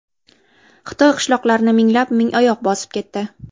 Xitoy qishloqlarini minglab mingoyoq bosib ketdi.